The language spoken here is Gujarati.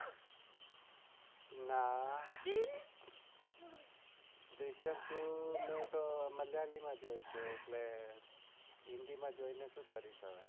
ના દ્રશ્યમ two મલયાલી માં જોયી છે તો હિન્દી માં જોઈને શૂ કરીશ હવે